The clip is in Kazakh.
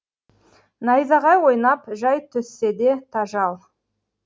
найзағай ойнап жай түссе де тажал